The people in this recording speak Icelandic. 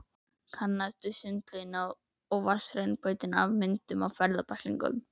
Kannaðist við sundlaugina og vatnsrennibrautina af myndum í ferðabæklingnum.